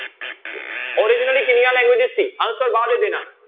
Originally ਕਿੰਨੀਆਂ languages ਸੀ answer ਬਾਅਦ ਦੇ ਦੇਣਾ।